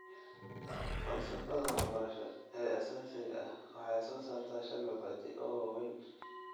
Falsafadda waxbarasho ee aasaasiga ah waxay soo saartaa shan mabaadi' oo waaweyn.